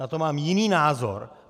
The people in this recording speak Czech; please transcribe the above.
Na to mám jiný názor.